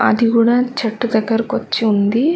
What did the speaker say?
అది కూడా చెట్టు దగ్గరకి వచ్చి ఉంది.